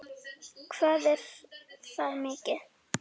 Hvað er það mikið?